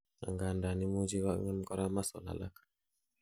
angandan imuchi kongem korak muscles alak